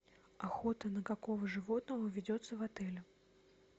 охота на какого животного ведется в отеле